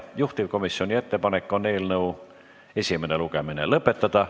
Juhtivkomisjoni ettepanek on eelnõu esimene lugemine lõpetada.